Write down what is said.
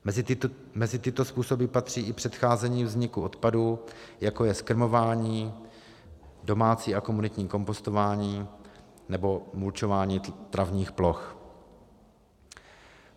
Mezi tyto způsoby patří i předcházení vzniku odpadů, jako je zkrmování, domácí a komunitní kompostování nebo mulčování travních ploch.